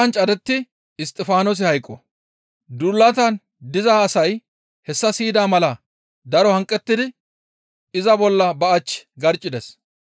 Duulatan diza asay hessa siyida mala daro hanqettidi iza bolla ba achchi garccides.